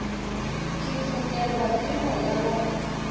ke fokelwa ke moya wa